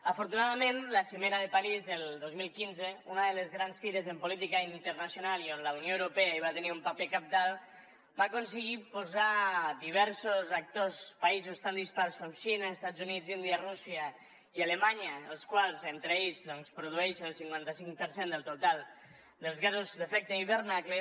afortunadament la cimera de parís del dos mil quinze una de les grans fites en política internacional i on la unió europea va tenir un paper cabdal va aconseguir posar diversos actors països tan dispars com xina estats units l’índia rússia i alemanya els quals entre ells doncs produeixen el cinquanta cinc per cent del total dels gasos d’efecte hivernacle